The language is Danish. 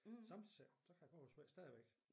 Sommetider siger hun så kan det godt være svært stadigvæk